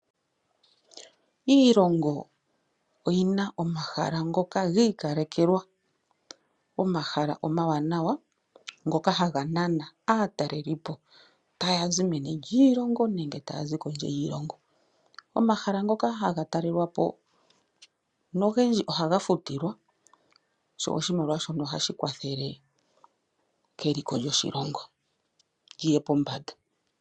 Iilongo oyina omahala ngoka giikalekelwa, omahala omawanawa ngoka haga nana aatalelipo, ta yazi meni lyiilongo nenge koondje yiilongo. Omahala ngoka haga talelwapo nogendji ohaga futilwa, sho osimaliwa shoka ohashi kwathele keliko lyoshilongo liye pombanda.